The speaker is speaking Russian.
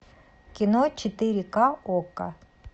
кино четыре к окко